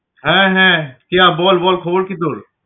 হ্যা হ্যা কেয়া বল বল খবর কি তোর?